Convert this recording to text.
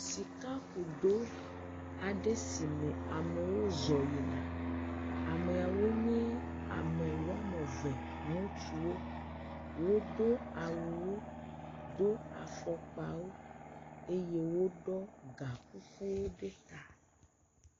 sika kudo aɖe me si amewo zɔ yina amɛawo nyɛ amɛ wɔameve ŋutsuwo wodó awuwo dó afɔkpawo eye wóɖɔ ga kukuwo ɖe ta